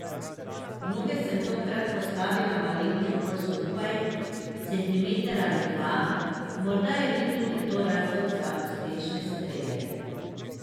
Noge sem tokrat postavila malenkost bolj skupaj, centimeter ali dva, morda je bil tudi to razlog za uspešne strele.